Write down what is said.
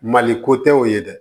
Mali ko tɛ o ye dɛ